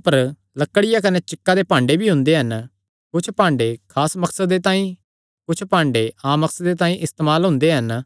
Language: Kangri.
अपर लकड़िया कने चिक्का दे भांडे भी हुंदे हन कुच्छ भांडे खास मकसदे तांई कने कुच्छ भांडे आम मकसदे तांई इस्तेमाल हुंदे हन